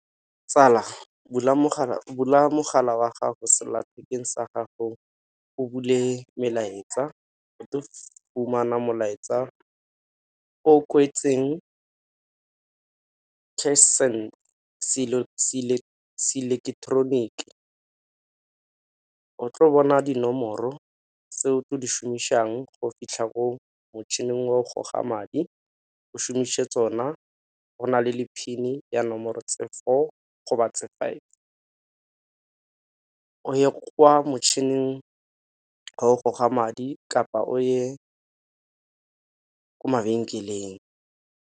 Tsala bula mogala wa gago sellathekeng sa gago o bule melaetsa, fumana molaetsa o kwetseng CashSend se ileletoroniki. O tlo bona dinomoro tse o tlo di šomišang go fitlha ko motšhining wa go goga madi o šomise tsona go na le PIN ya nomoro tse four go ba tse five. O ye kwa motšhining goga madi kapa o ye ko mabenkeleng.